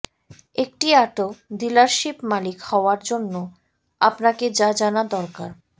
একটি auto dealership মালিক হওয়ার জন্য আপনাকে যা জানা দরকার